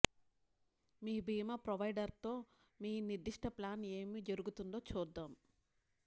మీ భీమా ప్రొవైడర్తో మీ నిర్దిష్ట ప్లాన్లో ఏమి జరుగుతుందో చూద్దాం